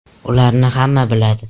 Ularni hamma biladi”.